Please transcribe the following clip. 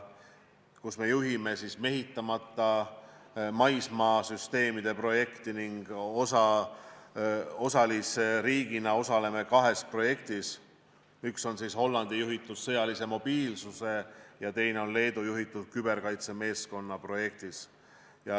Me juhime mehitamata maismaasüsteemide projekti ning osalisriigina osaleme kahes projektis, üks on Hollandi juhitud sõjalise mobiilsuse projekt ja teine on Leedu juhitud küberkaitsemeeskonna projekt.